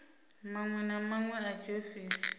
maṅwe na maṅwe a tshiofisi